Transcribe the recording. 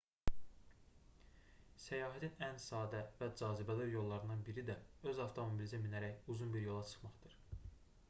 səyahətin ən sadə və cazibədar yollarından biri də öz avtomobilinizə minərək uzun bir yola çıxmaqdır